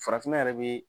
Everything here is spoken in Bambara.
Farafinna yɛrɛ be